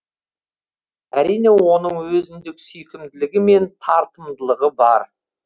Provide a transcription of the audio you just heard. әрине оның өзіндік сүйкімділігі мен тартымдылығы бар